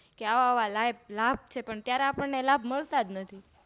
કે આવા આવા લાભ છે ત્યારે આપણે લાભ મળતા જ નથી